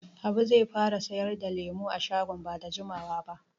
Habu zai fara sayar da lemu a shagon ba da jimawa ba.